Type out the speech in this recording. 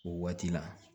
O waati la